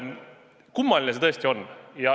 Kummaline see tõesti on.